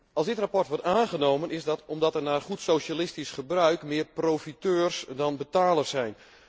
Als dit verslag wordt aangenomen, is dat omdat er naar goed socialistisch gebruik meer profiteurs dan betalers zijn.